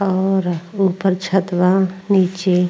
और ऊपर छत बा। नीचे --